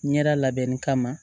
Ɲɛda labɛnni kama